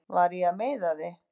Var ég að meiða þig?